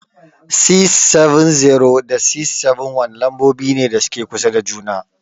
670 and 671 lambobi ne da suke kusa da juna.